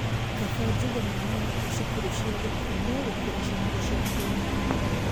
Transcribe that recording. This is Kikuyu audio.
Kabaa njige mwana wakwa cukuru cia gũkomwo gũkĩra cukuru cia kũinũka